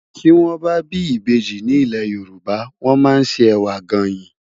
Ti wòn bâ bi ibéji ni ilé Yoruba wòn má n sé èwá gáin